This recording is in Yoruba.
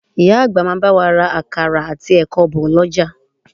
Ìyá àgbà máa bá wa ra àkàrà àti ẹ̀kọ bọ̀ lọ́jà